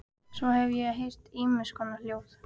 Svo hef ég heyrt ýmiss konar hljóð.